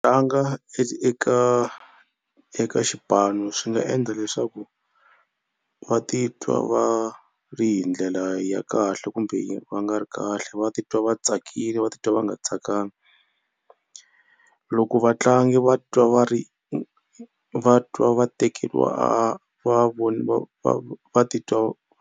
eka eka xipano swi nga endla leswaku va titwa va ri hi ndlela ya kahle kumbe va nga ri kahle. Va titwa va tsakile va titwa va nga tsakangi loko vatlangi va twa va ri va twa va tekeriwa va titwa.